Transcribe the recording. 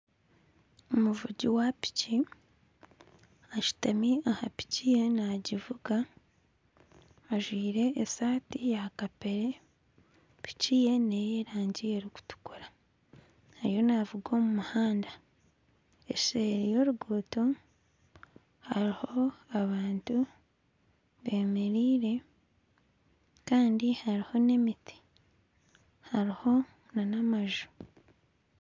Omuvugi wa piki ashutami aha piki ye nagivuga ajwaire esaati ya kapeere piki ye n'ey'erangi erikutukura ariyo navuga omu muhanda eseeri y'oruguuto hariho abantu bemereire kandi hariho n'emiti hariho n'amaju.